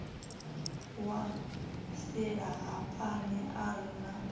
wa silahapani a re na